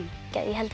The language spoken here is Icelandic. ég held